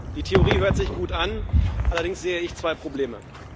Die Theorie hört sich gut an, allerdings sehe ich zwei Probleme.